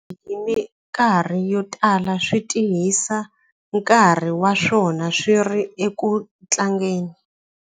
Swivanana hi mikarhi yo tala swi tirhisa nkarhi wa swona swi ri eku tlangeni.